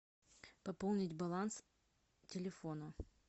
пополнить баланс телефона